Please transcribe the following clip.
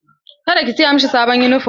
Ka da ki siya mashi sabon yunifom!